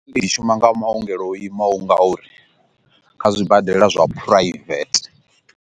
Ndi shuma nga maongelo o imaho nga uri kha zwibadela zwa private.